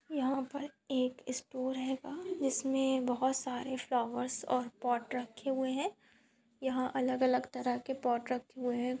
यहाँ पर एक स्टोर हेगा जिसमे बहुत सारे फ्लॉवर्स और पॉट रखे हुए है यहाँ अलग अलग तरह के पॉट रखे है।